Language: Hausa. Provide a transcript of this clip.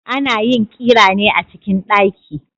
Ana yin ƙira ne a cikin daki